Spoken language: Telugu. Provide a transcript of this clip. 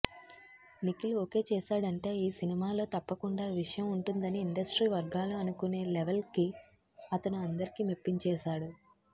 నిఖిల్ ఓకే చేసాడంటే ఈ సినిమాలో తప్పకుండా విషయం ఉంటుందని ఇండస్ట్రీ వర్గాలు అనుకునే లెవల్కి అతను అందర్నీ మెప్పించేసాడు